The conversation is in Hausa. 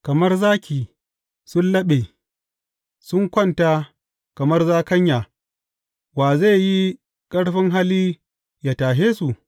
Kamar zaki sun laɓe sun kwanta, kamar zakanya, wa zai yi ƙarfin hali yă tashe su?